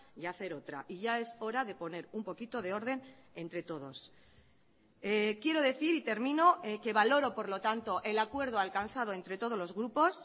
y hacer otra y ya es hora de poner un poquito de orden entre todos quiero decir y termino que valoro por lo tanto el acuerdo alcanzado entre todos los grupos